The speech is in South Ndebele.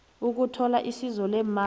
ukuthola isizo leemali